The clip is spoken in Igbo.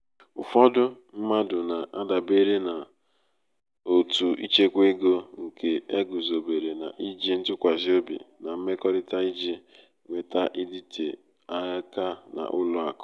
ụfọdụ mmadụ na-adabere n’òtù ịchekwa ego nke e guzobere n’iji ntụkwasị obi na mmekọrịta iji nweta ịdịte aka n’ụlọ akụ.